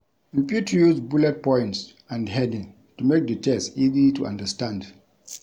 You fit use bullet points and heading to make di text easy to understand